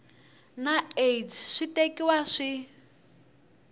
na aids swi tekiwa swi